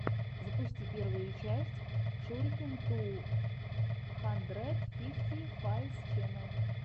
запусти первую часть шурикен ту хандред фифти файвс ченел